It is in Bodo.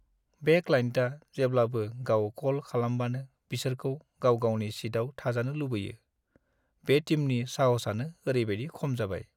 बे क्लाइन्टआ जेब्लाबो गाव कल खालामबानो बिसोरखौ गाव-गावनि सिटआव थाजानो लुबैयो, बे टिमनि साहसआनो ओरैबायदि खम जाबाय।